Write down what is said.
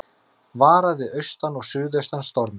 Varað við austan og suðaustan stormi